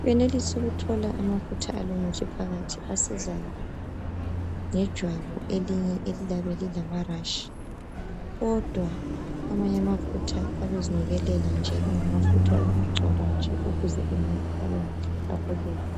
uyenelisa ukuthola amafutha alomuthi phakathi asiza ngejwabu elinye eliyabe lulama rashi kodwa amanye kulamafutha ayabe ezinukelela nje engamafutha wokugcoba nje ukuze umuntu abemuhle abukeke